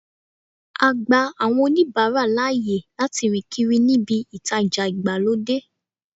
A gba àwọn oníbàárà láàyè láti rìn kiri níbí ìtajà ìgbàlódé.